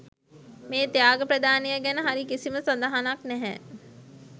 මේ ත්‍යාග ප්‍රදානය ගැන හරි කිසිම සදහනක් නැහැ.